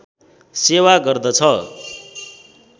सेवा गर्दछ